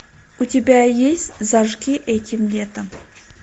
у тебя есть зажги этим летом